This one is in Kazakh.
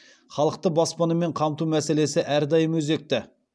халықты баспанамен қамту мәселесі әрдайым өзекті